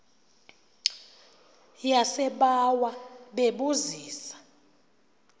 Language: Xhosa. yasebawa bebu zisa